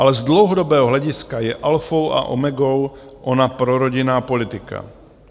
Ale z dlouhodobého hlediska je alfou a omegou ona prorodinná politika.